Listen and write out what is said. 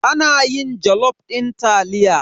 Ana yin jalof din taliya.